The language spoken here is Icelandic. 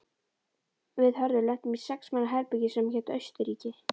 Við Hörður lentum í sex manna herbergi sem hét Austurríki.